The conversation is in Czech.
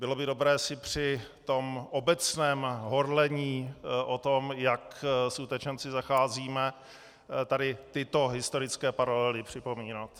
Bylo by dobré si při tom obecném horlení o tom, jak s utečenci zacházíme, tady tyto historické paralely připomínat.